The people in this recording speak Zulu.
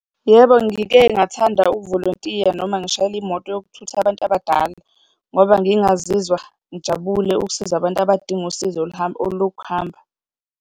Yebo, ngike ngathanda ukuvolontiya noma ngishayela imoto yokuthutha abantu abadala ngoba ngingazizwa ngijabule ukusiza abantu abadinga usizo olokuhamba.